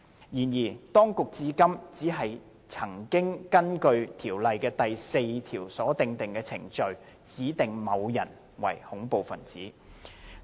然而，當局至今只曾根據《條例》第4條所訂的程序，指定某些人為恐怖分子。